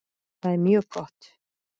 Það er mjög gott.